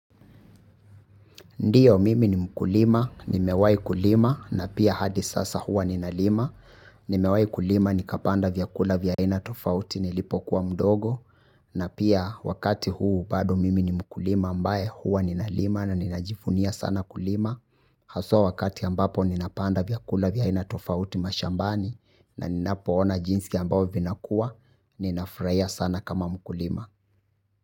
Ndiyo mimi ni mkulima, nimewahi kulima na pia hadi sasa huwa ninalima, nimewai kulima nikapanda vyakula vya aina tofauti nilipo kuwa mdogo na pia wakati huu bado mimi ni mkulima ambaye huwa ninalima na ninajivunia sana kulima. Haswa wakati ambapo ninapanda vyakula vya aina tofauti mashambani na ninapo ona jinsi ambao vina kuwa nina furahia sana kama mkulima.